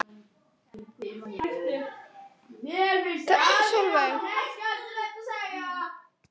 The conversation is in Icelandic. Hann hló, mér var ekki skemmt.